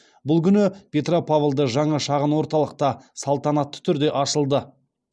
бұл күні петропавлда жаңа шағын орталық та салтанатты түрде ашылды